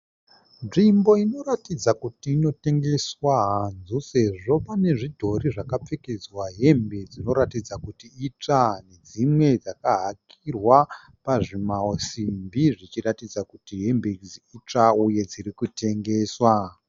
Nzvimbo inoratidza kuti inotengeswa hanzu sezvo pane zvidhori zvakapfekedzwa hembe dzinoratidza kuti itsva nedzimwe dzakahakirwa pazvimasimbi zvichiratidza kuti hembe idzi itsva uye dziri kutengeswa.